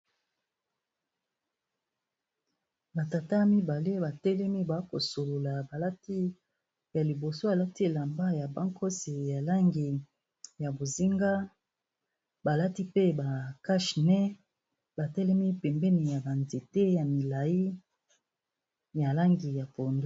Ba tata mibale ba telemi ba kosolola ba lati ya liboso alati elamba ya bankosi ya langi ya bozinga. Ba lati pe ba cache nez, ba telemi pembeni ya ba nzete ya milayi, ya langi ya pondu.